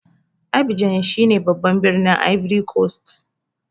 Abidjan shine babban birnin Ivory cost.